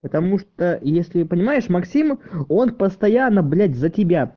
потому что если понимаешь максим он постоянно блять за тебя